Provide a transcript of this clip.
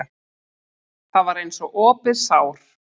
Það var eins og opið sár.